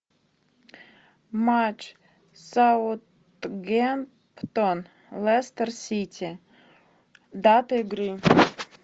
матч саутгемптон лестер сити дата игры